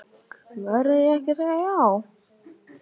Verð ég ekki að segja já?